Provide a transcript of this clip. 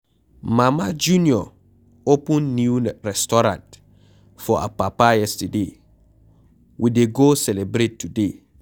Mama junior open new restaurant for Apapa yesterday, we dey go celebrate today.